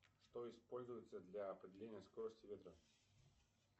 что используется для определения скорости ветра